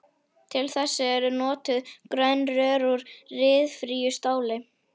Til þess eru notuð grönn rör úr ryðfríu stáli.